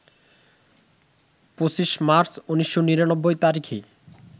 ২৫ March ১৯৯৯ তারিখে